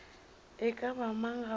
e ka ba mang gabotse